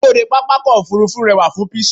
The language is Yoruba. ẹnubodè pápákọ̀ ọ̀kọ òfurufú rewa fun pishur